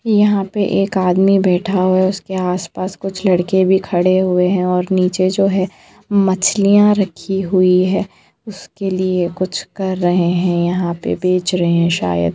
यहां पे एक आदमी बैठा हुआ है उसके आस-पास कुछ लड़के भी खड़े हुये है और नीचे जो है मछलिया रखी हुई है उसके लिए कुछ कर रहे है यहां पे बेच रहे है शायद !